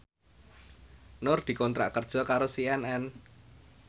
Nur dikontrak kerja karo CNN